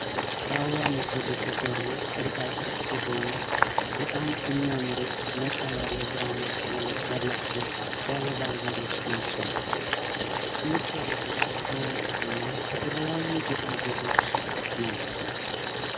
በአበባ ምስል የተሰሩ ቅርፆ ቅርፅ ሲሆኑ በጣም እሚያምሩ ነጣ ያለ ብራማ ቀለም ያላቸው የአበባ ዘሮች ናቸው ። እሚሰሩትም ከወረቀትና ከተለያዪ ጌጣጌጦች ነው ።